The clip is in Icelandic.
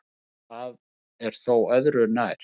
Það er þó öðru nær.